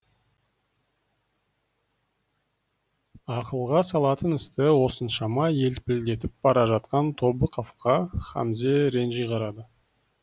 ақылға салатын істі осыншама елпілдетіп бара жатқан тобықовқа хамзе ренжи қарады